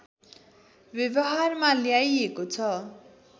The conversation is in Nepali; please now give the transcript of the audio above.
व्यवहारमा ल्याइएको छ